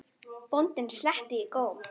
Bóndinn sletti í góm.